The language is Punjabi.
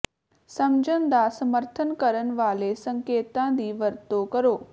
ਸਮਝਣ ਦਾ ਸਮਰਥਨ ਕਰਨ ਵਾਲੇ ਸੰਕੇਤਾਂ ਦੀ ਵਰਤੋਂ ਕਰੋ